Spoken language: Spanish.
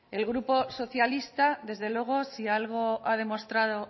el grupo socialista desde luego si algo ha demostrado